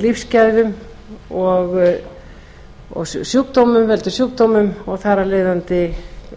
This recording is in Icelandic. lífsgæðum og veldur sjúkdómum og þar af leiðandi